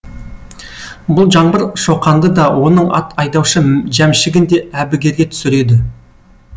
бұл жаңбыр шоқанды да оның ат айдаушы жәмшігін де әбігерге түсіреді